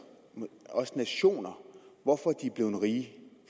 også nationer hvorfor de er blevet rige